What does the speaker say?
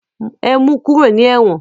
E mu kúrò ní ẹ̀wọ̀n!